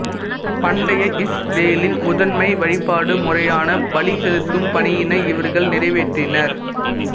பண்டைய இஸ்ரேலின் முதன்மை வழிபாடு முறையான பலி செலுத்தும் பணியினை இவர்கள் நிறைவேற்றினர்